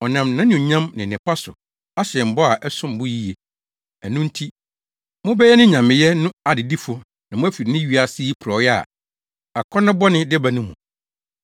Ɔnam nʼanuonyam ne nnepa so ahyɛ yɛn bɔ a ɛsom bo yiye. Ɛno nti, mobɛyɛ ne nyameyɛ no adedifo na moafi nea wiase yi porɔwee a akɔnnɔ bɔne de ba no mu.